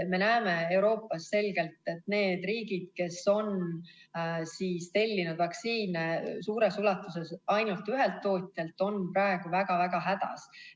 Me näeme Euroopas selgelt, et need riigid, kes on tellinud vaktsiine suures koguses ainult ühelt tootjalt, on praegu väga-väga hädas.